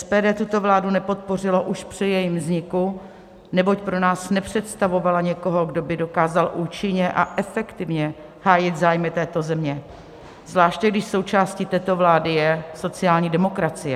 SPD tuto vládu nepodpořilo už při jejím vzniku, neboť pro nás nepředstavovala někoho, kdo by dokázal účinně a efektivně hájit zájmy této země, zvláště když součástí této vlády je sociální demokracie.